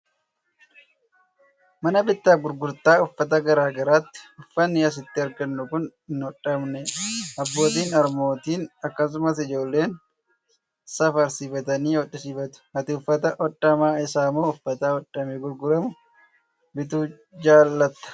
Mana bittaa fi gurgurtaa uffata garaa garaati. Uffatni asitti argannu kan hin hodhamne dha. Abbootiin, harmootiin akkasumas ijoolleen safarsiifatanii hodhisiifatu. Ati uffata hodhamaa isaa moo uffata hodhamee gurguramu bituu jaalatta?